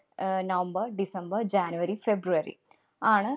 അഹ് November‍, December‍, January, February ആണ്